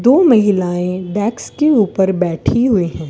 दो महिलाएं डेक्स के ऊपर बैठी हुई हैं।